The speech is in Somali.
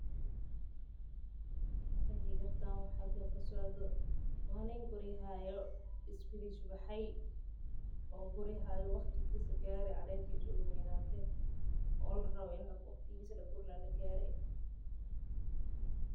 Ma qeexi kartaa waxa halkan kasocdo waa nin guri haayo qudaar baxde.